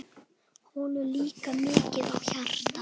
Honum lá mikið á hjarta.